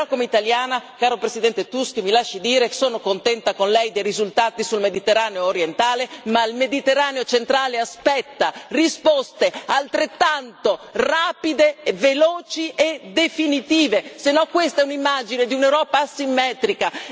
Però come italiana, caro Presidente Tusk, me lo lasci dire, sono contenta con lei dei risultati sul Mediterraneo orientale anche se il Mediterraneo centrale aspetta risposte altrettanto rapide, veloci e definitive, se no questa è un'immagine di un'Europa asimmetrica.